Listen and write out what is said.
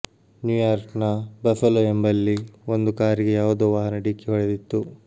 ನ್ಯೂಯಾರ್ಕ್ನ Buffalo ಎಂಬಲ್ಲಿ ಒಂದು ಕಾರಿಗೆ ಯಾವುದೋ ವಾಹನ ಡಿಕ್ಕಿ ಹೊಡೆದಿತ್ತು